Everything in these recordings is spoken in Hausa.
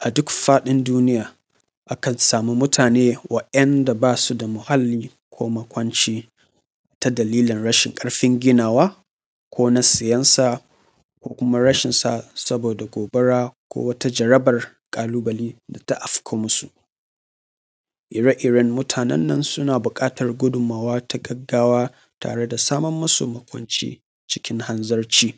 A duk faɗin duniya akan sami mutane wanda ba su da halli ko makwanci ta dalilin rashin ƙarfin ginawa ko na siyansa da kuma rashin sa saboda gobara ko wata jaraban ƙalubale da ta afko masu, ire-iren mutanen nan suna buƙatan godunmuwa ta gaggawa tare da samar musu makwanci cikin hanzarci,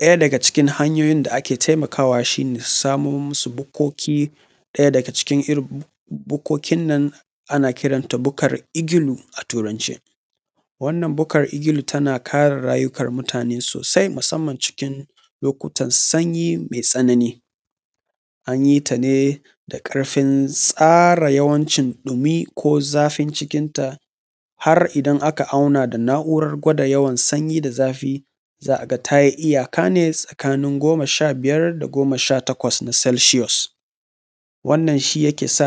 ɗaya daga cikin hanyoyin da ake taimakawa shi ne samar musu bukkoki a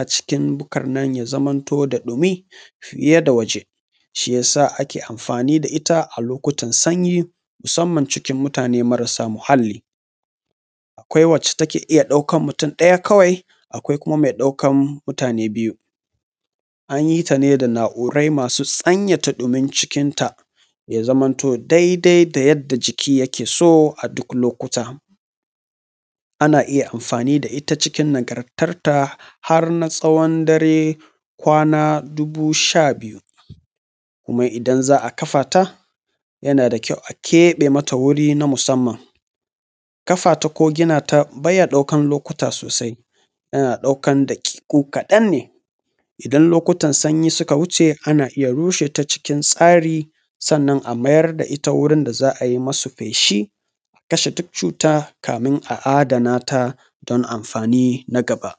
cikin bukarnan ya zamanto da ɗumi fiye da waje shi ya sa ake anfani da ita a lokutan sanyi musanamn cikin mutane marasa muhalli akwai wadda take iya ɗaukan mutum ɗaya kawai. Akwai kuma me ɗaukan mutane biyu an yi su ne da na’urai masu sanyaya ɗumin cikin ya zamantu daidai da yanda jiki yak eso duk lokuta. Ana iya anfani da ita cikin nagartanta har na tsawan dare kwana dubu shabiyu kuma idan za a kafa ta yana da kyau a ƙeɓe mata wuri na musanman, kafa ta ko gina ta ba ya ɗaukan lokuta sosai yana ɗaukan daƙiƙo kaɗan ne idan lokutan sanyi suka wuce a rushe ta cikin tsari sannan amayar da ita wurin da za a ai mata feshi, a kashe duk cuta kafin a adana ta don anfani da gaba.